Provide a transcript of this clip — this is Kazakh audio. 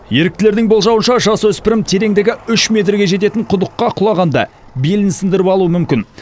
еріктілердің болжауынша жасөспірім тереңдігі үш метрге жететін құдыққа құлағанда белін сындырып алуы мүмкін